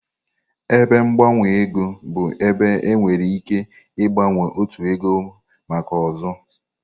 Ebe gbanwe ego bụ ebe ị nwere ike ịgbanwe otu ego maka ọzọ.